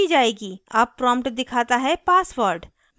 अब prompt दिखाता है password